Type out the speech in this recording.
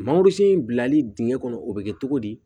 Mangorosun in bilali dingɛ kɔnɔ o bɛ kɛ togo di